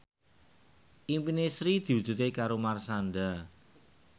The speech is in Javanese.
impine Sri diwujudke karo Marshanda